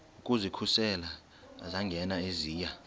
ukuzikhusela zangena eziya